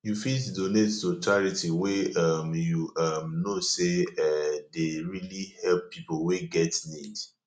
you fit donate to charity wey um you um know sey um dey really help pipo wey get need